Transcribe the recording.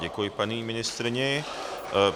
Děkuji paní ministryni.